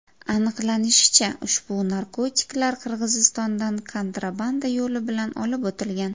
Aniqlanishicha, ushbu narkotiklar Qirg‘izistondan kontrabanda yo‘li bilan olib o‘tilgan.